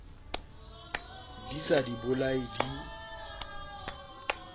di sa di bolaye di